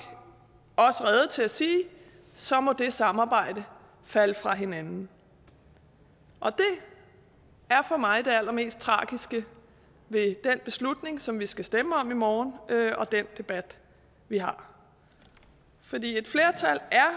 også rede til at sige så må det samarbejde falde fra hinanden og det er for mig det allermest tragiske ved den beslutning som vi skal stemme om i morgen og den debat vi har for et flertal er